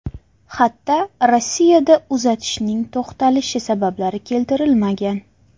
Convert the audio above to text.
Xatda Rossiyada uzatishning to‘xtatilishi sabablari keltirilmagan.